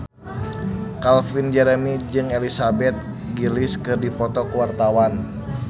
Calvin Jeremy jeung Elizabeth Gillies keur dipoto ku wartawan